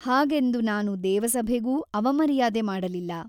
ಹಾಗೆಂದು ನಾನು ದೇವಸಭೆಗೂ ಅವಮರ್ಯಾದೆ ಮಾಡಲಿಲ್ಲ.